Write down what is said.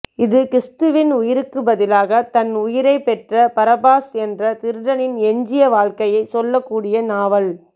இது கிறிஸ்துவின் உயிருக்குத் பதிலாக தன் உயிரை பெற்ற பரபாஸ் என்ற திருடனின் எஞ்சிய வாழ்க்கையைச் சொல்லக்கூடிய நாவல்